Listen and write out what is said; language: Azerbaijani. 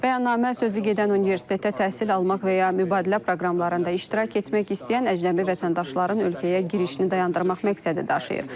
Bəyannamə sözügedən universitetə təhsil almaq və ya mübadilə proqramlarında iştirak etmək istəyən əcnəbi vətəndaşların ölkəyə girişini dayandırmaq məqsədi daşıyır.